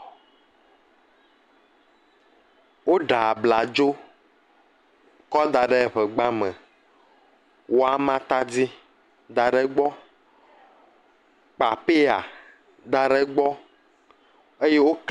Woɖa abladzo kɔ da ɖe ŋegba me, wɔ ama tadi da ɖe gbɔ, kpa peya da ɖe gbɔ, eye wo…